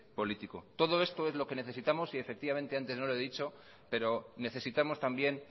político todo esto es lo que necesitamos y antes no lo he dicho pero necesitamos también